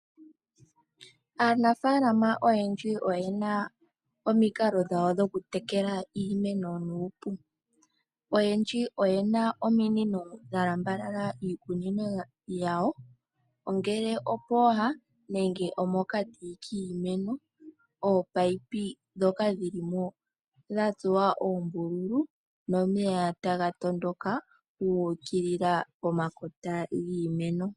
Aanafaalama oyendji oyena omikalo dhawo dhokutekela iimeno. Oyendji oyena ominino dha lambalala iikunino yawo ,ongele opooha nenge omokati kiimeno . Ominino ndhoka dhilimo dhatsuwa oombululu nomeya taga matuka gu ukilila pomakota giimeno.